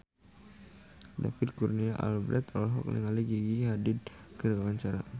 David Kurnia Albert olohok ningali Gigi Hadid keur diwawancara